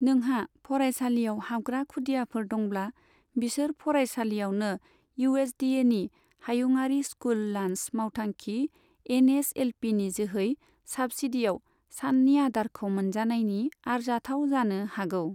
नोंहा फरायसालियाव हाबग्रा खुदियाफोर दंब्ला, बिसोर फरायसालियावनो इउएसडीएनि हायुङारि स्कुल लान्च मावथांखि एनएसएलपीनि जोहै साब्सिडीआव साननि आदारखौ मोनजानायनि आरजाथाव जानो हागौ।